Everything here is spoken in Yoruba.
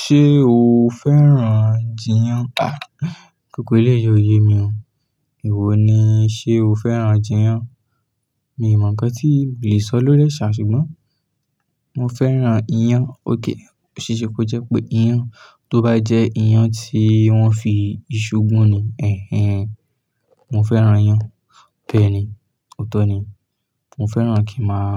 Ṣé o fẹ́ràn jiyán? Gbógbó eléyi o yé mi o. Ewò ni, ṣe o fẹ́ràn jiyán? Mi ò mọ ńkan tí mo le sọ lóríẹ̀ ṣà ṣùgbọ́n mo fẹ́ràn iyán. Okay, oṣéṣé kó jẹ́ pé iyán, tó bá jẹ iyán tí wọ́n fi ìṣù gún ni, ẹ̀hen. Mo fẹ́ràn iyán bẹ́ẹ̀ ni. Ó tó ni. Mo fẹ́ràn kí n máa